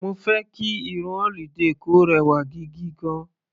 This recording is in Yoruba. Mo fẹ́ kí irun holiday kò rẹwà gigigan.